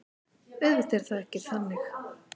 Auðvitað er það ekki þannig.